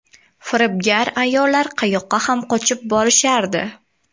Firibgar ayollar qayoqqa ham qochib borishardi.